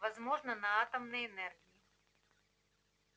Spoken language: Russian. возможно на атомной энергии